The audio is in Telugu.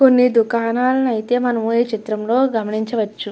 కొన్ని దుకాణాలను అయితే మనం ఈ చిత్రం లో గమనించవచ్చు.